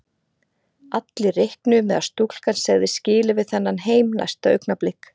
Allir reiknuðu með að stúlkan segði skilið við þennan heim næsta augnablik.